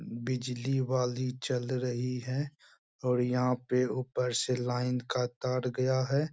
बिजली वाली चल रही है और यहाँ पे ऊपर से लाइन का तार गया है।